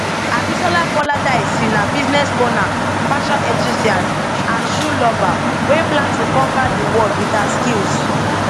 abisola koladaisi na business owner fashion enthusiast and shoe lover wey plan to conquer di world wit her skills